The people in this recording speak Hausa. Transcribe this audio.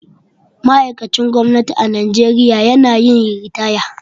Ma'aikacin gwamnati a Najeriya na yin ritaya.